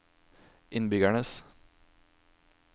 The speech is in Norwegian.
innbyggernes